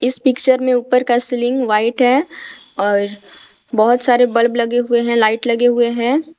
इस पिक्चर में ऊपर का सीलिंग व्हाइट है और बहुत सारे बल्ब लगे हुए हैं लाइट लगे हुए हैं।